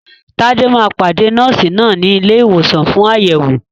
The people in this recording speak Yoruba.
Tade máa pàdé Nọ́ọ̀sì náà ní ilé ìwòsàn fún àyẹ̀wò.